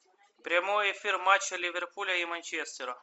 прямой эфир матча ливерпуля и манчестера